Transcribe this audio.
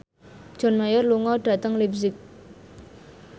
John Mayer lunga dhateng leipzig